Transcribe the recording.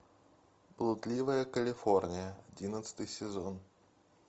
блудливая калифорния одиннадцатый сезон